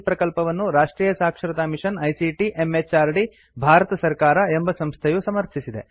ಈ ಪ್ರಕಲ್ಪವನ್ನು ರಾಷ್ಟ್ರಿಯ ಸಾಕ್ಷರತಾ ಮಿಷನ್ ಐಸಿಟಿ ಎಂಎಚಆರ್ಡಿ ಭಾರತ ಸರ್ಕಾರ ಎಂಬ ಸಂಸ್ಥೆಯು ಸಮರ್ಥಿಸಿದೆ